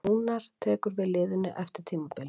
Rúnar tók við liðinu eftir tímabilið.